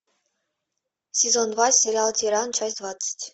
сезон два сериал тиран часть двадцать